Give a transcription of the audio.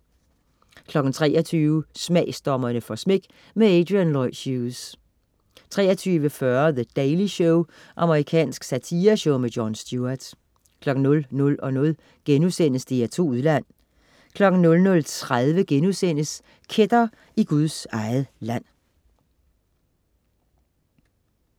23.00 Smagsdommerne får smæk. Adrian Lloyd Hughes 23.40 The Daily Show. Amerikansk satireshow. Jon Stewart 00.00 DR2 Udland* 00.30 Kætter i Guds eget land*